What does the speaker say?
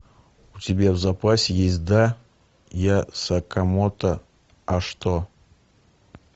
у тебя в запасе есть да я сакамото а что